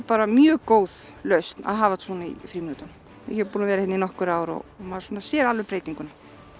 bara mjög góð lausn að hafa svona í frímínútum ég er búin að vera hérna í nokkur ár og maður sér alveg breytinguna